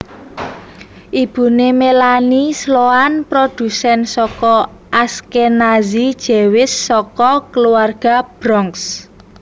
Ibune Melanie Sloan produsen saka Ashkenazi Jewish saka keluarga Bronx